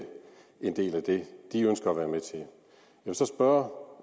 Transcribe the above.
en del af det de ønsker at være med til jeg vil så spørge